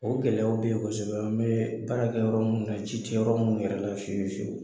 O gɛlɛyaw be ye kosɛbɛ an be baarakɛ yɔrɔ munnu na ji te yɔrɔ munnu yɛrɛ la fiye fiyewu